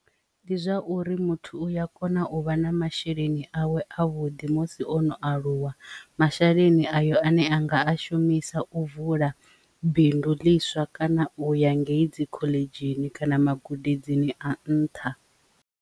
Ndi zwa uri muthu uya kona u vha na masheleni awe a vhuḓi musi ono aluwa masheleni ayo ane anga a shumisa u vula bindu ḽiswa kana u ya ngei dzi khoḽedzhi kana magudedzini a nṱha.